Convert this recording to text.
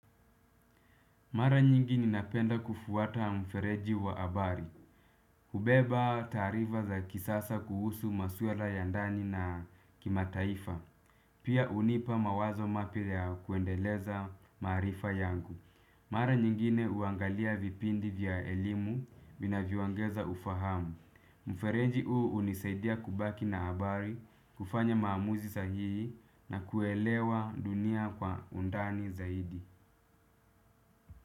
Mara nyingi ninapenda kufuata mfereji wa habari. Hubeba taarifa za kisasa kuhusu maswala ya ndani na kimataifa. Pia hunipa mawazo mapya ya kuendeleza marifa yangu. Mara nyingine huangalia vipindi vya elimu vinavyoongeza ufahamu. Mfereji huu hunisaidia kubaki na habari, kufanya maamuzi sahihi na kuelewa dunia kwa undani zaidi.